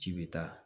Ci bɛ taa